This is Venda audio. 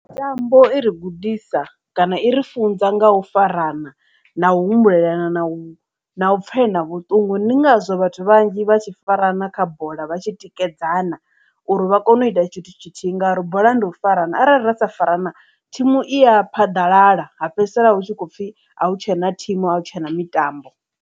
Mitambo i ri gudisa kana i ri funza nga u farana na u humbulela na u na u pfelana vhuṱungu ndi ngazwo vhathu vhanzhi vha tshi farana kha bola vha tshi tikedzana uri vha kone u ita tshithu tshithihi ngauri bola ndi u farana arali ra sa farana thimu i ya phaḓalala ha fhedzisela hu tshi khou pfhi a hu tshena thimu a hu tshena mitambo.